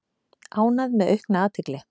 Ánægð með aukna athygli